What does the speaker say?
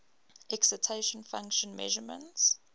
excitation function measurements